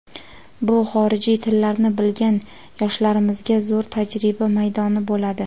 bu xorijiy tillarni bilgan yoshlarimizga zo‘r tajriba maydoni bo‘ladi.